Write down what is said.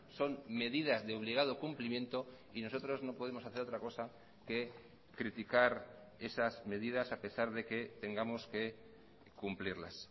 son medidas de obligado cumplimiento y nosotros no podemos hacer otra cosa que criticar esas medidas a pesar de que tengamos que cumplirlas